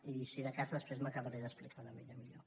i si de cas després m’acabaré d’explicar una mica millor